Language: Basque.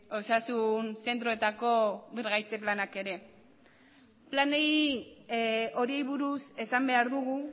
osasun zentroetako birgaitze planak ere plan horiei buruz esan behar dugu